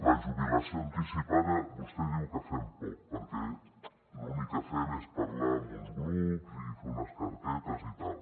la jubilació anticipada vostè diu que fem poc perquè l’únic que fem és parlar amb uns grups i fer unes carpetes i tal